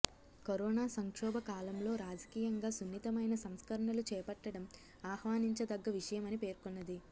corona సంక్షోభ కాలంలో రాజకీయంగా సున్నితమైన సంస్కరణలు చేపట్టడం ఆహ్వానించదగ్గ విషయమని పేర్కొన్నది